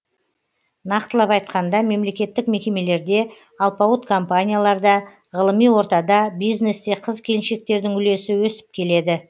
нақтылап айтқанда мемлекеттік мекемелерде алпауыт компанияларда ғылыми ортада бизнесте қыз келіншектердің үлесі өсіп келеді